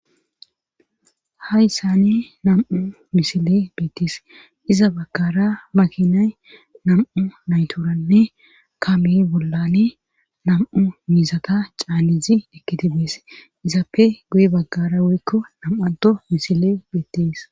hayssani nam7u misile beettis iza baggara makinay nam7u nayturanne kame bollani nam7u mizata caalizi ekiti bees izappe guye baggara woykko nam7ado misile beettes